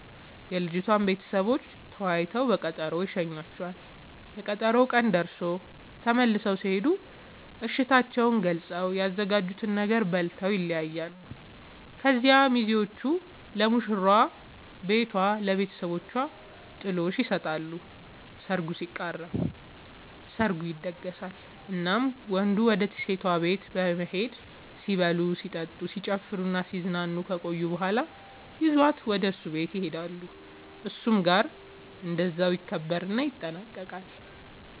የልጅቷም ቤተሰቦች ተወያይተው በቀጠሮ ይሸኙዋቸዋል፤ የቀጠሮው ቀን ደርሶ ተመልሰው ሲሄዱ እሽታቸውን ገልፀው፤ ያዘጋጁትን ነገር በልተው ይለያያሉ። ከዚያ ሚዜዎቹ ለሙሽራዋ ቤቷ ለብተሰቦቿ ጥሎሽ ይሰጣሉ ሰርጉ ሲቃረብ፤ ሰርጉ ይደገሳል እናም ወንዱ ወደ ሴቷ ቤት በመሄድ ሲበሉ ሲጠጡ፣ ሲጨፍሩናሲዝናኑ ከቆዩ በኋላ ይዟት ወደ እሱ ቤት ይሄዳሉ እሱም ጋር እንደዛው ይከበርና ይጠናቀቃል